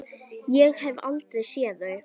Ég hef aldrei séð þau!